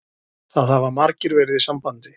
Það hafa margir verið í sambandi